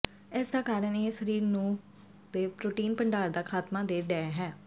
ਇਸ ਦਾ ਕਾਰਨ ਇਹ ਸਰੀਰ ਨੂੰ ਦੇ ਪ੍ਰੋਟੀਨ ਭੰਡਾਰ ਦਾ ਖਾਤਮਾ ਦੇ ਢਹਿ ਹੈ